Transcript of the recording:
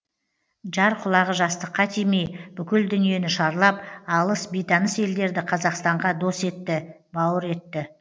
жар құлағы жастыққа тимей бүкіл дүниені шарлап алыс бейтаныс елдерді қазақстанға дос етті бауыр етті